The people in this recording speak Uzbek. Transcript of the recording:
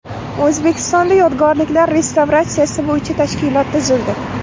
O‘zbekistonda yodgorliklar restavratsiyasi bo‘yicha tashkilot tuzildi.